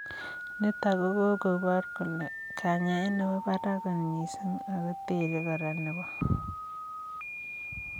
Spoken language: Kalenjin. Nitok kakopaar kolee kanyaet nepoo parak koot mising ago terei koraa nepoo